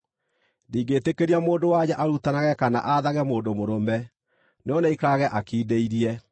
Ndingĩĩtĩkĩria mũndũ-wa-nja arutanage kana aathage mũndũ mũrũme; no nĩaikarage akindĩirie.